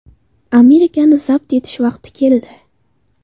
Amerikani zabt etish vaqti keldi.